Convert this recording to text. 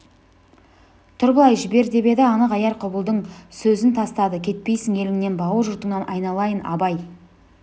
тұр былай жібер деп еді анық аяр құбылдың сөзін тастады кетпейсің еліңнен бауыр жұртыңнан айналайын абай